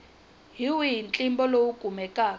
hi wihi ntlimbo lowu kumekaka